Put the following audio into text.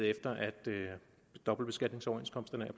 efter at dobbeltbeskatningsoverenskomsterne